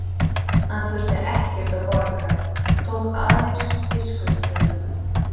Hann þurfti ekkert að borga, tók aðeins við skuldunum.